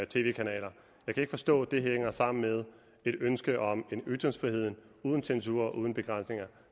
tv kanaler jeg kan ikke forstå hvordan det hænger sammen med et ønske om en ytringsfrihed uden censur og uden begrænsninger